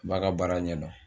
A b'a ka baara ɲɛdɔn